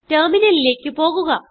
ടെർമിനലിലേക്ക് പോകുക